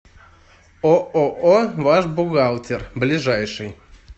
ооо ваш бухгалтер ближайший